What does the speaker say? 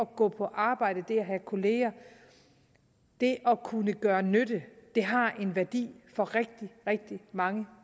gå på arbejde det at have kolleger det at kunne gøre nytte har en værdi for rigtig rigtig mange